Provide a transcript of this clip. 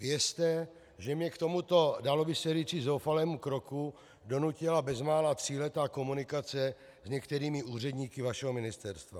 Věřte, že mě k tomuto dalo by se říci zoufalému kroku donutila bezmála tříletá komunikace s některými úředníky vašeho ministerstva.